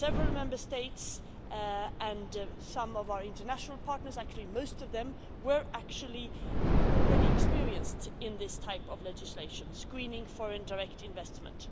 Several Member States and some of our international partners, actually, most of them, were already experienced in this type of legislation, screening foreign direct investment.